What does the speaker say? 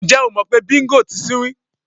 Ǹjé̩ o mò̩ pé Bíngò (ajá) ti sinwín?